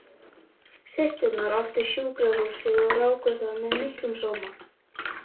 Systurnar áttu sjúkrahúsið og ráku það með miklum sóma.